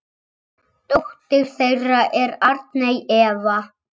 Dóttir þeirra er Arney Eva.